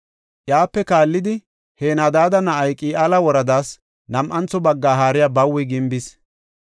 Iyape kaallidi Henadaada na7ay, Qi7aala woradaas nam7antho bagga haariya Bawi gimbidosona.